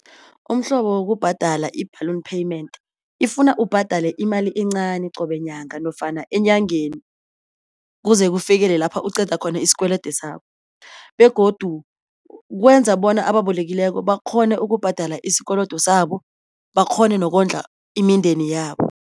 Umhlobo wokubhadela i-balloon payment ifuna ubhadale imali encani qobe nyaka nofana enyangeni kuze kufikele lapho uqede khona isikwelede sakho begodu kwenza bona ababolekileko bakghone ukubhadela isikolodo saba bakghone nokondla imindeni yabo.